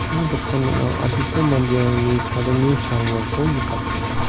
cha dokan ning·ao adita manderangni chadenge cha ringako nikatenga.